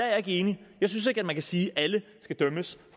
jeg ikke enig jeg synes ikke at man kan sige at alle skal idømmes